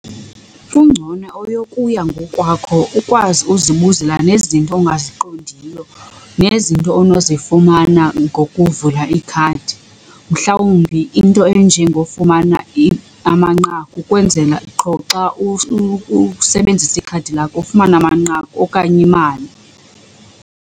Kungcono eyokuya ngokwakho ukwazi uzibuzela nezinto ongaziqondiyo nezinto onozifumana ngokuvula ikhadi. Mhlawumbi into enjengofumana amanqaku ukwenzela qho xa usebenzisa ikhadi lakho ufumane amanqaku okanye imali.